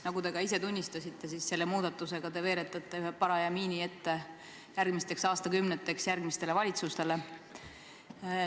Nagu te ka ise tunnistasite, selle muudatusega te veeretate järgmisteks aastakümneteks järgmistele valitsustele ühe paraja miini ette.